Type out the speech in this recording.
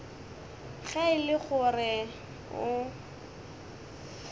ge e le gore o